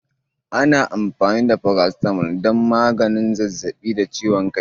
Ana amfani da Paracetamol don maganin zazzaɓi da ciwon kai.